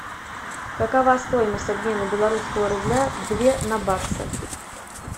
какова стоимость обмена белорусского рубля две на баксы